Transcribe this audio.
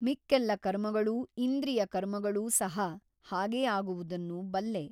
ಮಿಕ್ಕೆಲ್ಲ ಕರ್ಮಗಳೂ ಇಂದ್ರಿಯ ಕರ್ಮಗಳೂ ಸಹ ಹಾಗೆ ಆಗುವುದನ್ನು ಬಲ್ಲೆ.